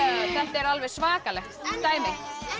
er alveg svakalegt dæmi